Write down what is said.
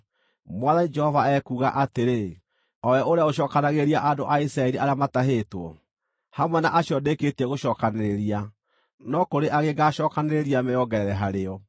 Mwathani Jehova ekuuga atĩrĩ, o we ũrĩa ũcookanagĩrĩria andũ a Isiraeli arĩa matahĩtwo: “Hamwe na acio ndĩkĩtie gũcookanĩrĩria no kũrĩ angĩ ngaacookanĩrĩria meongerere harĩo.”